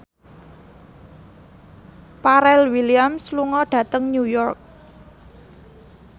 Pharrell Williams lunga dhateng New York